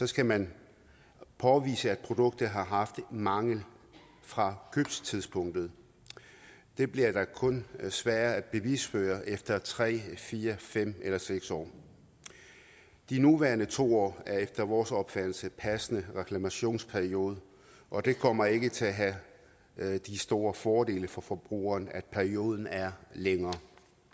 skal man påvise at produktet har haft en mangel fra købstidspunktet det bliver da kun sværere at bevisføre efter tre fire fem eller seks år de nuværende to år er efter vores opfattelse en passende reklamationsperiode og det kommer ikke til at have de store fordele for forbrugeren at perioden er længere